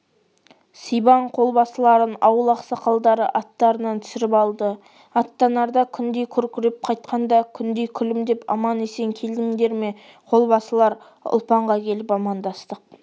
сибан қолбасыларын ауыл ақсақалдары аттарынан түсіріп алды аттанарда күндей күркіреп қайтқанда күндей күлімдеп аман-есен келдіңдер ме қолбасылар ұлпанға келіп амандық